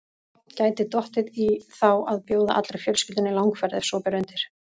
Gæti dottið í þá að bjóða allri fjölskyldunni í langferð ef svo ber undir.